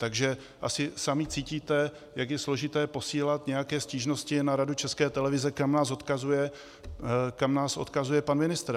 Takže asi sami cítíte, jak je složité posílat nějaké stížnosti na Radu České televize, kam nás odkazuje pan ministr.